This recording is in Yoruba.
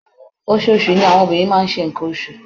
Oṣooṣù ni àwọn obìnrin máa ń ṣe nnkan oṣù